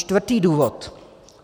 Čtvrtý důvod.